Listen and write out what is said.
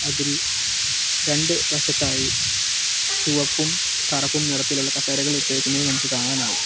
അതിൽ രണ്ട് വശത്തായി ചുവപ്പും കറുപ്പും നിറത്തിലുള്ള കസേരകൾ ഇട്ടേക്കുന്നത് നമുക്ക് കാണാനാവും.